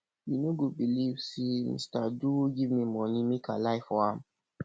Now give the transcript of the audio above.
you no go believe say mr duru give me money make i lie for am